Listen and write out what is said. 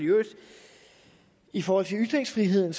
i forhold til ytringsfriheden